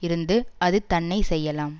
இருந்து அது தன்னை செய்யலாம்